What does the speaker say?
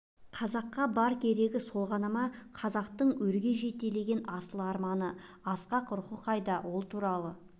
қазаққа бар керегі сол ғана ма қазақтың өрге жетелеген асыл арманы асқақ рухы қайда ол туралы